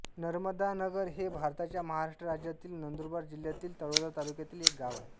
नर्मदानगर हे भारताच्या महाराष्ट्र राज्यातील नंदुरबार जिल्ह्यातील तळोदा तालुक्यातील एक गाव आहे